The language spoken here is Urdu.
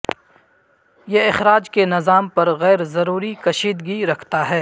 یہ اخراج کے نظام پر غیر ضروری کشیدگی رکھتا ہے